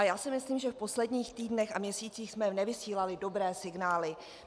A já si myslím, že v posledních týdnech a měsících jsme nevysílali dobré signály.